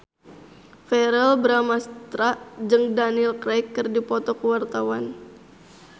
Verrell Bramastra jeung Daniel Craig keur dipoto ku wartawan